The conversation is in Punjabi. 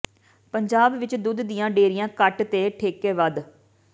ਪੰਜਾਬ ਵਿੱਚ ਦੁੱਧ ਦੀਆਂ ਡੇਅਰੀਆਂ ਘੱਟ ਤੇ ਠੇਕੇ ਵੱਧ